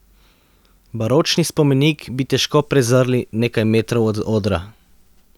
Baročni spomenik bi težko prezrli nekaj metrov od odra.